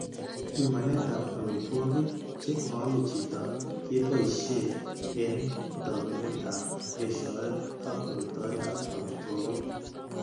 Pimanetab amitwogik che moome chito keboishe eng' tobenetab eshoet ak metoetab amitwogik.